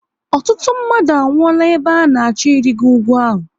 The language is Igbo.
Ọtụtụ mmadụ a nwuola ebe ha na achọ ịrigo ugwu ahụ